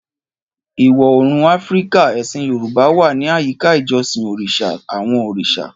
Ìwọ̀ Oòrùn Áfíríkà, ẹ̀sìn Yorùbá wà ní àyíká ìjọsìn Orishas, àwọn òrìṣà.